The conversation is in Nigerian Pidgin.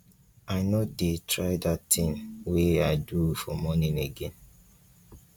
i no go try dat thing wey i do for morning again